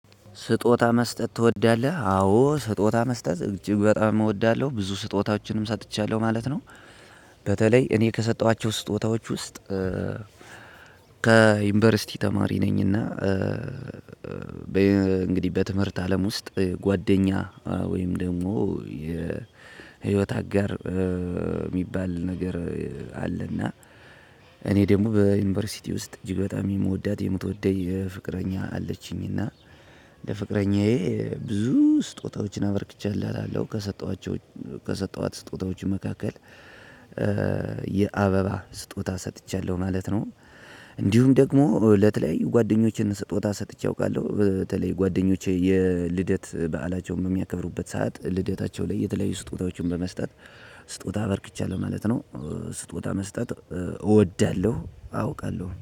ስጦታ መስጠት ትወዳለህ አዎ ስጦታ መስጠት እጅግ በጣም እወዳለው ብዙ ስጦታዎችንም ሰጥቻለው ማለት ነው። በተለይ እኔ ከሰጠኋቸው ስጦታዎች ውስጥ። ከዩኒቨርሲቲ ተማሪ ነኝ እና። ነኝና እንግዲህ በትምህርት አለም ውስጥ ጓደኛ ወይም ደግሞ የህይወት አጋር የሚባል ነገር አለና። እኔ ደግሞ በዩኒቨርሲቲ ውስጥ እጅግ በጣም የምወዳት የምትወደኝ የፍቅረኛ አለችኝ እና። ለፍቅረኛዬ ብዙ ስጦታዎችን አበርክቼላታለው ከሰጠኋቸው ከሰጠኋት ስጦታዎች መካከል የአበባ ስጦታ ሰጥቻለው ማለት ነው። እንዲሁም ደግሞ ለተለያዩ ጓደኞችን ስጦታ ሰጥቼ አውቃለው። በተለይ ጓደኞቼ የልደት በዓላቸውን በሚያከብሩበት ሰዓት ልደታቸው ላይ የተለያዩ ስጦታዎችን በመስጠት ስጦታ በርክቻለው ማለት ነው። ስጦታ መስጠት እወዳለው አውቃለው